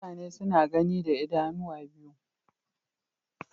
Mutane suna gani da idanu biyu